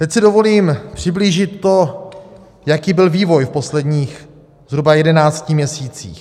Teď si dovolím přiblížit to, jaký byl vývoj v posledních zhruba 11 měsících.